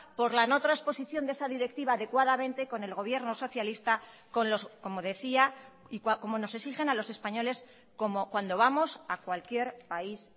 por la no trasposición de esa directiva adecuadamente con el gobierno socialista como decía como nos exigen a los españoles como cuando vamos a cualquier país